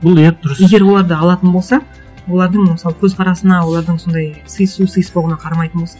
бұл иә дұрыс егер оларды алатын болса олардың мысалы көзқарасына олардың сондай сыйысу сыйыспауына қарамайтын болса